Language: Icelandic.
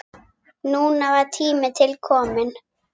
Núna var tími til kominn.